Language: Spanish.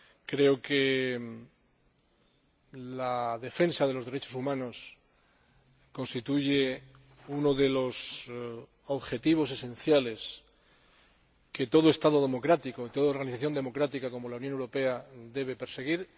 Creo que la defensa de los derechos humanos constituye uno de los objetivos esenciales que todo Estado democrático y toda organización democrática como la Unión Europea deben perseguir.